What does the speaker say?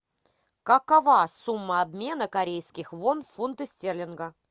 какова сумма обмена корейских вон в фунты стерлинга